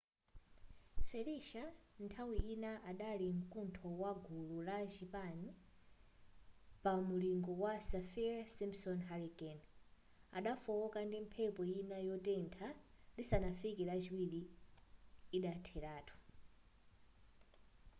felicia nthawi ina adali mkuntho wa gulu la chinayi pa mulingo wa saffir-simpson hurricane adafooka ndi mphepo ina yotentha lisanafike lachiwiri idatheratu